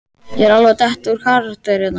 Ég er alveg að detta úr karakter hérna.